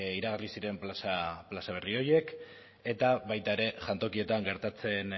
iragarri ziren plaza berri horiek eta baita ere jantokietan gertatzen